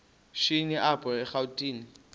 shini apho erawutini